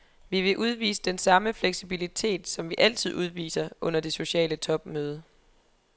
Vi vil udvise den samme fleksibilitet, som vi altid udviser, under det sociale topmøde.